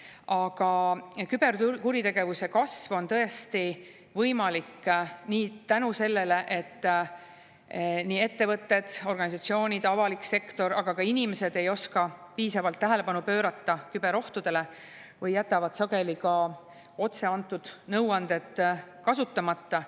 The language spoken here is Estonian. Aga küberkuritegevuse kasv on tõesti võimalik selle tõttu, et ettevõtted, organisatsioonid, avalik sektor, aga ka inimesed ei oska piisavalt tähelepanu pöörata küberohtudele või jätavad sageli ka otse antud nõuanded kasutamata.